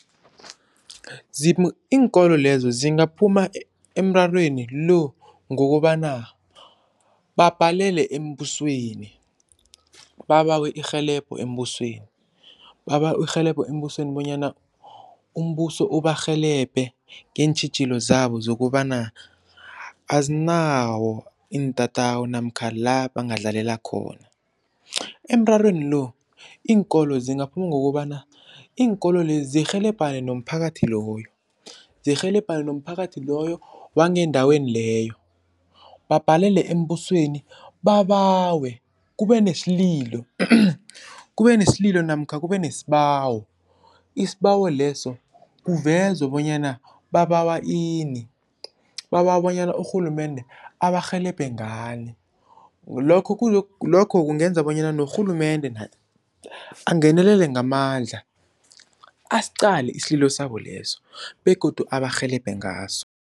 Iinkolo lezo zingaphuma emrarweni lo ngokobana babhalele embusweni, babawe irhelebho embusweni, babawe irhelebho embusweni bonyana umbuso ubarhelebhe ngeentjhijilo zabo zokobana azinawo iintatawu namkha la bangadlalela khona. Emrarweni lo iinkolo zingaphuma ngokobana iinkolo lezi zirhelebhane nomphakathi loyo, zirhelebhane nomphakathi loyo wangendaweni leyo babhalele embusweni babawe kube nesililo kube nesililo namkha kube nesibawo isibawo leso kuvezwe bonyana babawa ini, babawa bonyana urhulumende abarhelebhe ngani. Lokho lokho kungenza bonyana norhulumende naye angenelele ngamandla asiqale isililo sabo leso begodu abarhelebhe ngaso.